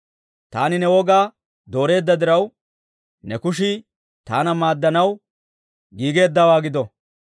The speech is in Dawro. Taani ne wogaa dooreedda diraw, ne kushii taana maaddanaw giigeeddawaa gido.